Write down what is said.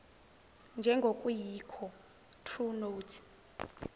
njengokuyikho true notes